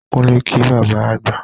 Kúnlẹ̀ kí bàbá àgbà!